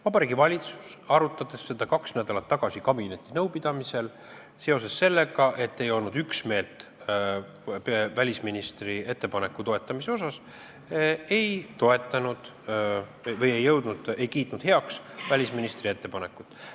Vabariigi Valitsus, arutades seda kaks nädalat tagasi kabinetinõupidamisel, seoses sellega, et ei olnud üksmeelt välisministri ettepaneku toetamise asjas, ei toetanud või ei kiitnud heaks välisministri ettepanekut.